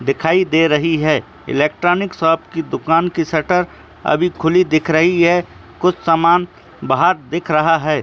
दिखाई दे रही है एलेक्टोरिन्क शॉप की दुकान की सटर अभी खुली दिख रही है कुछ समान बहार दिख रहा है।